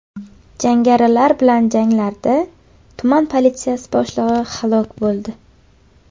Jangarilar bilan janglarda tuman politsiyasi boshlig‘i halok bo‘ldi.